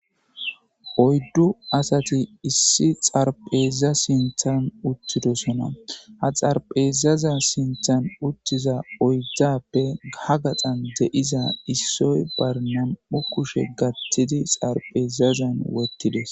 Oyddu asati issi xaarapheza sinththen uttidosonna.oydeza bolla uttidaytappe issoy be kushshe gaththidi xaarapheza bolla uttidees.